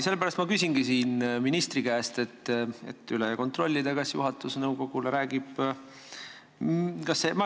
Sellepärast ma küsingi ministri käest, et üle kontrollida, kas juhatus räägib nõukogule.